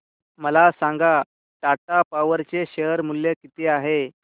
मला सांगा टाटा पॉवर चे शेअर मूल्य किती आहे